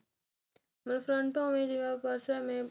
ਬੱਸ ਉਵੇ ਜਿਵੇਂ purse ਨੇ